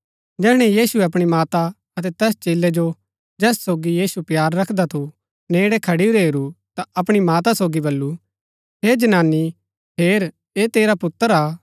जैहणै यीशुऐ अपणी माता अतै तैस चेलै जो जैस सोगी यीशु प्‍यार रखदा थू नेड़ै खडुरै हेरू ता अपणी माता सोगी बल्लू हे जनानी हेर ऐह तेरा पुत्र हा